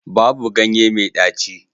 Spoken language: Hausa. Babu ganye mai ɗaci